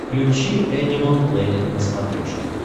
включи энимал плэнет на смотрешке